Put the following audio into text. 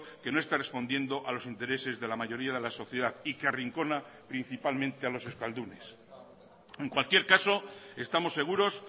que no está respondiendo a los intereses de la mayoría de la sociedad y que arrincona principalmente a los euskaldunes en cualquier caso estamos seguros